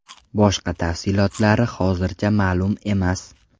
Boshqa tafsilotlari hozircha ma’lum emas.